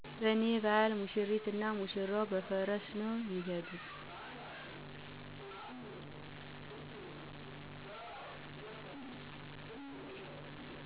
" በኔ ባህል ሙሽሪት እና ሙሽራዉ በፈረስ ነዉ ሚሄዱት።"